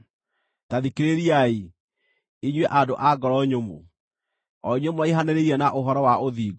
Ta thikĩrĩriai, inyuĩ andũ a ngoro nyũmũ, o inyuĩ mũraihanĩrĩirie na ũhoro wa ũthingu.